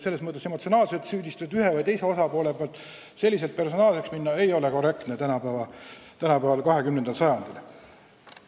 Emotsionaalsed süüdistused ühelt või teiselt osapoolelt – niimoodi personaalseks minna ei ole tänapäeval, 21. sajandil korrektne.